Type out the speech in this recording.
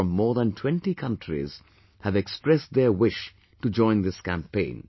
from more than 20 countries have expressed their wish to join this campaign